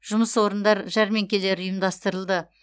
жұмыс орындар жәрмеңкелері ұйымдастырылды